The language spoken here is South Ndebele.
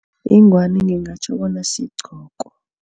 Ingwani ngingatjho bona sigqoko.